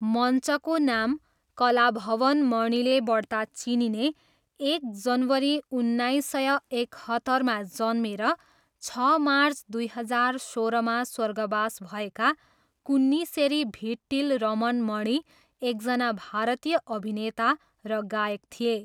मञ्चको नाम कलाभवन मणिले बढ्ता चिनिने, एक जनवरी उन्नाइस सय एकहत्तरमा जन्मेर, छ मार्च दुई हजार सोह्रमा स्वर्गवास भएका कुन्निसेरी भिट्टिल रमन मणि, एकजना भारतीय अभिनेता र गायक थिए।